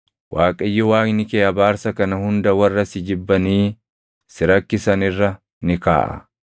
Waaqayyo Waaqni kee abaarsa kana hunda warra si jibbanii si rakkisan irra ni kaaʼa.